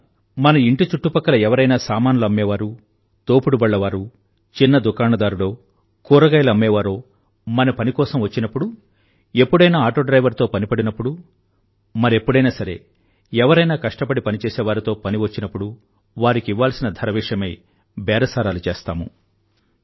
మనం మన ఇంటి చుట్టుపక్కల ఎవరైనా సామానులు అమ్మేవారు తోపుడు బళ్ళ వారు చిన్న దుకాణదారుడో కూరగాయలు అమ్మేవారో మన పని కోసం వచ్చినప్పుడు ఎప్పుడైనా ఆటో డ్రైవర్ తో పని పడినప్పుడు మరెప్పుడైనా సరే ఎవరైనా కష్టపడి పనిచేసేవారితో పని వచ్చినప్పుడు వారికి ఇవ్వాల్సిన ధర విషయమై బేరసారాలు చేస్తాము